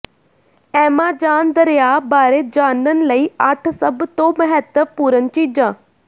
Amazon ਦਰਿਆ ਬਾਰੇ ਜਾਣਨ ਲਈ ਅੱਠ ਸਭ ਤੋਂ ਮਹੱਤਵਪੂਰਣ ਚੀਜ਼ਾਂ